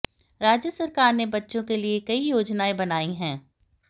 राज्य सरकार ने बच्चों के लिये कई योजनाएं बनायी हैं